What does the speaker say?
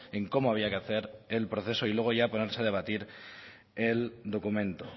en cómo había que hacer el proceso y luego ya ponerse a debatir el documento